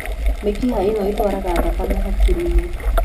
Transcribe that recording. Mĩkiha ĩno ĩtwaraga thakame hakiri-inĩ.